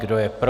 Kdo je pro?